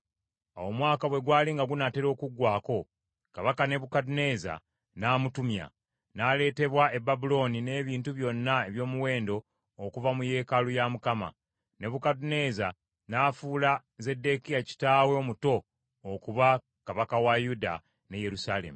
Awo omwaka bwe gwali nga gunaatera okuggwaako, kabaka Nebukadduneeza n’amutumya, n’aleetebwa e Babulooni n’ebintu byonna eby’omuwendo okuva mu yeekaalu ya Mukama . Nebukadduneeza n’afuula Zeddekiya kitaawe omuto okuba kabaka wa Yuda ne Yerusaalemi.